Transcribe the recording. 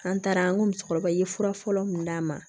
An taara an ko musokɔrɔba ye fura fɔlɔ mun d'a ma